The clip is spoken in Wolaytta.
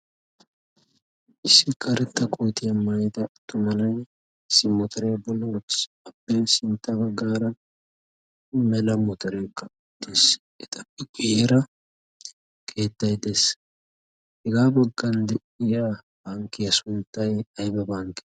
Issi kaaretta kootiyaa maayida tatuma na'ay simotarebaloois appe sintta baggaara mela motaree ka udtees exaappi giyyara keettai xees hegaa baggan de'yara hankkiya sunttay ayba bankki?